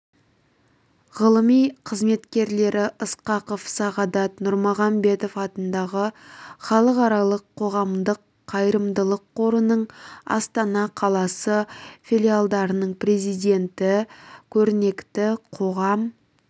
ғылыми қызметкерлері ысқақов сағадат нұрмағамбетов атындағы халықаралық қоғамдық-қайырымдылық қорының астана қаласы филиалының президенті көрнекті қоғам